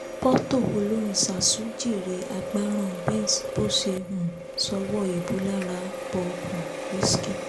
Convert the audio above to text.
pọ́tò olórin zazu jèrè àgbáràn benz bọ́ṣẹ́ um sọ́wọ́ èébú lára bob um risky